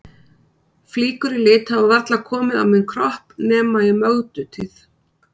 Flíkur í lit hafa varla komið á minn kropp nema í Mögdu tíð.